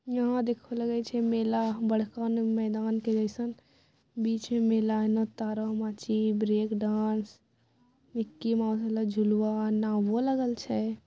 यहाँ देखौह लगे छै मेला ह बड़का ना मैदान के जेसन बीच में मेला एना तारा माची ब्रेक डांस मिकी माउस वाला झुलवा नावों लगल छै।